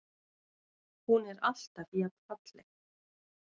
Hún er alltaf jafn falleg.